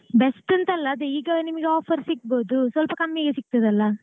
best ಅಂತಲ್ಲ ಅದೇ ಈಗ ನಿಮ್ಗೆ offer ಸಿಕ್ಬೋದು ಸ್ವಲ್ಪಕಮ್ಮಿಗೆ ಸಿಗ್ತದಲ್ಲ.